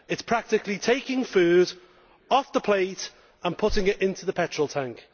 It is practically taking food off the plate and putting it into the petrol tank.